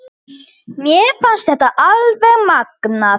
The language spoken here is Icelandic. Mér fannst þetta alveg magnað.